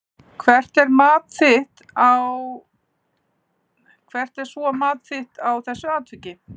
Hvert er svo þitt mat á þessu atviki?